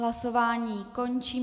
Hlasování končím.